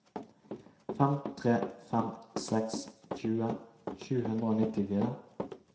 fem tre fem seks tjue sju hundre og nittifire